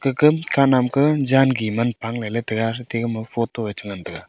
ka kam kanam ka jan gi man pang ley ley taga atama photo ei che ngan taiga.